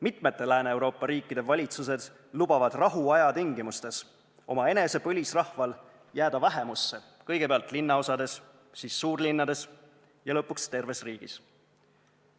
Mitmete Lääne-Euroopa riikide valitsused lubavad rahuaja tingimustes omaenese põlisrahval jääda vähemusse, kõigepealt linnaosades, siis suurlinnades ja lõpuks terves riigis.